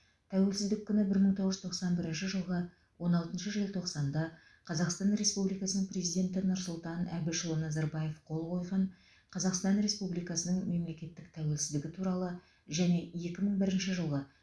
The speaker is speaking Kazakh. тәуелсіздік күні бір мың тоғыз жүз тоқсан бірінші жылғы он алтыншы желтоқсанда қазақстан республикасының президенті нұрсұлтан әбішұлы назарбаев қол қойған қазақстан республикасының мемлекеттік тәуелсіздігі туралы және екі мың бірінші жылғы